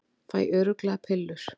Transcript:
Fæ örugglega pillur